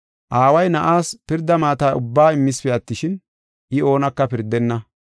Aaway Na7aas pirda maata ubbaa immispe attishin, I oonaka pirdenna.